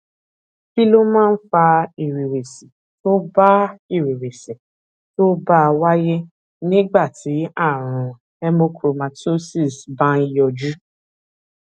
kí ló máa ń fa ìrèwèsì tó bá ìrèwèsì tó bá wáyé nígbà tí àrùn hemochromatosis bá ń yọjú